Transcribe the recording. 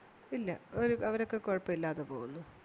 ഇല്ല അവരൊക്കെ കൊഴപ്പല്യാതെ പോകുന്നു